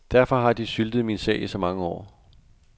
Derfor har de syltet min sag i så mange år.